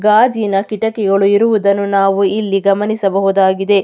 ಗಾಜಿನ ಕಿಟಕಿಗಳು ಇರುವುದನ್ನು ನಾವು ಇಲ್ಲಿ ಗಮನಿಸಬಹುದಾಗಿದೆ.